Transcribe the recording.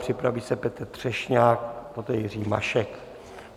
Připraví se Petr Třešňák, poté Jiří Mašek.